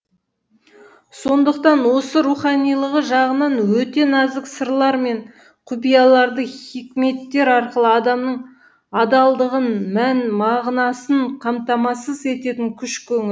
сондықтан осы руханилығы жағынан өте нәзік сырлар мен құпияларды хикметтер арқылы адамның адалдығын мән мағынасын қамтамасыз ететін күш көңіл